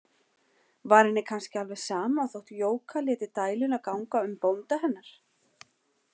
Var henni kannski alveg sama þótt Jóka léti dæluna ganga um bónda hennar?